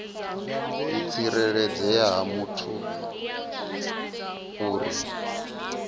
u tsireledzea ha muthu uri